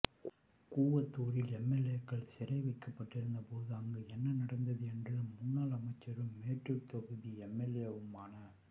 கூவத்தூரில் எம்எல்ஏக்கள் சிறை வைக்கபட்டிருந்த போது அங்கு என்ன நடந்தது என்று முன்னாள் அமைச்சரும் மேட்டூர் தொகுதி எம்எல்ஏவுமான